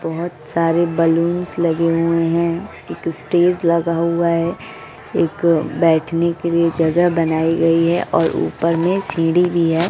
बहोत सारे बलूंस लगे हुए हैं एक स्टेज लगा हुआ है एक बैठने के लिए जगह बनाई गई है और ऊपर में सीढ़ी भी है।